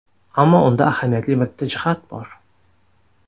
Ammo unda ahamiyatli bitta jihat bor.